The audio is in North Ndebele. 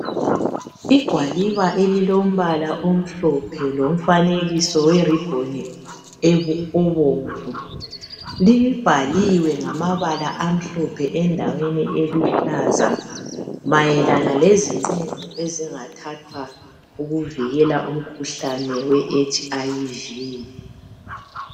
Igwaliba elilombala omhlophe elilomfanekiso oweribhoni obomvu. Libhaliwe ngamabala amhlophe endaweni eluhlaza mayelana leziqumo ezingathathwa ukuvikela umkhuhlane weHIV.